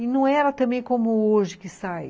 E não era também como hoje, que sai.